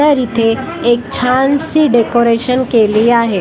तर इथे एक छानसी डेकोरेशन केली आहे.